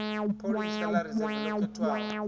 pholisa ḽa ridzeve ḽo khethwaho